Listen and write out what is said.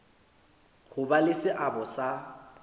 ho ba le seabo sa